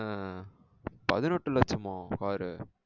உம் பதினெட்டு லட்சமா car உ